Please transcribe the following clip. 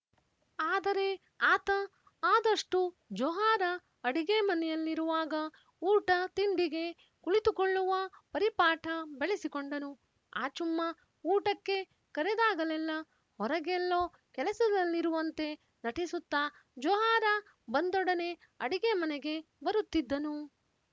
ಆದರೆ ಆತ ಆದಷ್ಟೂ ಜೊಹಾರಾ ಅಡಿಗೆ ಮನೆಯಲ್ಲಿರುವಾಗ ಊಟ ತಿಂಡಿಗೆ ಕುಳಿತುಕೊಳ್ಳುವ ಪರಿಪಾಠ ಬೆಳೆಸಿಕೊಂಡನು ಆಚುಮ್ಮ ಊಟಕ್ಕೆ ಕರೆದಾಗಲೆಲ್ಲ ಹೊರಗೆಲ್ಲೊ ಕೆಲಸದಲ್ಲಿರುವಂತೆ ನಟಿಸುತ್ತಾ ಜೊಹಾರಾ ಬಂದೊಡನೆ ಅಡಿಗೆ ಮನೆಗೆ ಬರುತ್ತಿದ್ದನು